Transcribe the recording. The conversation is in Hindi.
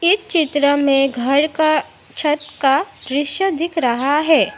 ई चित्र में घर का छत का दृश्य दिख रहा है।